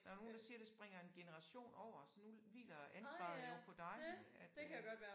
Der nogen der siger det springer en generation over så nu hviler ansvaret jo på dig at øh